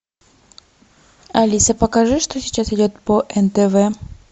алиса покажи что сейчас идет по нтв